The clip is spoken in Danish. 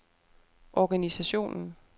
organisationen